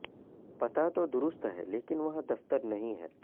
پتا تو درست ہے لیکن وہاں دفتر نہیں ہے